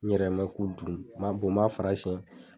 N yɛrɛ ma ku dun n b'a bɔ n b'a fara siyɛn